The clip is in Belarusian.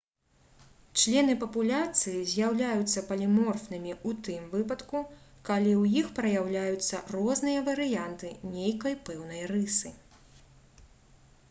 члены папуляцыі з'яўляюцца паліморфнымі ў тым выпадку калі ў іх праяўляюцца розныя варыянты нейкай пэўнай рысы